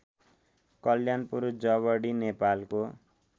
कल्यानपुर जवडी नेपालको